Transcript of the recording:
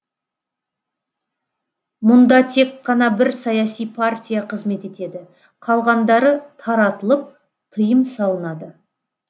мұнда тек қана бір саяси партия қызмет етеді қалғандары таратылып тыйым салынады